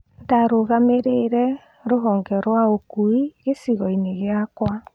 Ndarũgamĩrĩire rũhonge rwaũkui gĩcigoinĩ gĩakwa. "